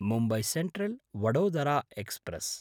Mumbai सेन्ट्रल्–वडोदरा express